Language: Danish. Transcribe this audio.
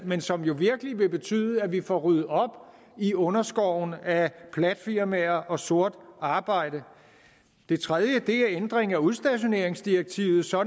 men som jo virkelig vil betyde at vi får ryddet op i underskoven af platfirmaer og sort arbejde det tredje er ændringen af udstationeringsdirektivet så